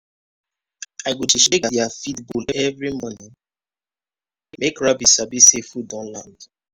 i go dey shake their feed bowl every morning make rabbit sabi say food don land.